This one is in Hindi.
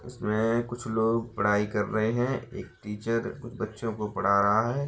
इसमें कुछ लोग पढाई कर रहे हैं एक टीचर बच्चो को पढ़ा रहा है।